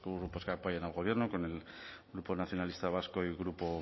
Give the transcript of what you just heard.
grupos que apoyan al gobierno con el grupo nacionalista vasco y grupo